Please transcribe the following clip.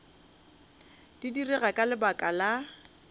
di direga ka lebaka la